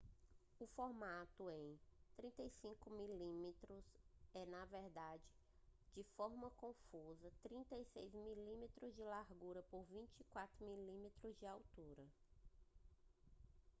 o formato em 35mm é na verdade de forma confusa 36mm de largura por 24mm de altura